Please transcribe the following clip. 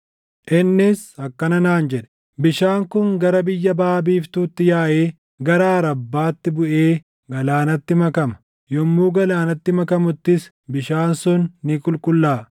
Innis akkana naan jedhe; “Bishaan kun gara biyya baʼa biiftuutti yaaʼee gara Arabbaatti buʼee galaanatti makama. Yommuu galaanatti makamuttis bishaan sun ni qulqullaaʼa.